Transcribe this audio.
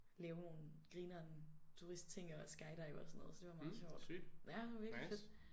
Lave nogle grineren turistting og skydive og sådan noget så det var meget sjovt ja det var virkelig fedt